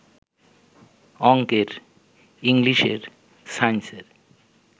অঙ্কের, ইংলিশের, সাইন্সের